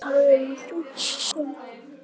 Þá er talað um efahyggju um hinn ytri heim.